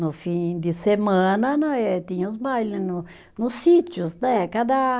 No fim de semana, não é, tinha os baile no, nos sítios, né? Cada